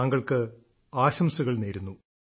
താങ്കൾക്ക് ആശംസകൾ നേരുന്നു